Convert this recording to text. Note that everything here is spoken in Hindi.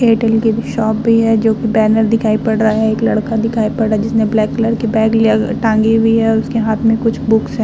एयरटेल की भी शॉप भी है जो की बैनर दिखाई पड़ रहा है एक लड़का दिखाई पड़ रहा है जिसने ब्लैक कलर की बैग लिया ग टांगी हुई है उसके हाथ में कुछ बुक्स हैं।